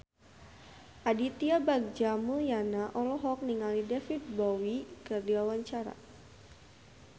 Aditya Bagja Mulyana olohok ningali David Bowie keur diwawancara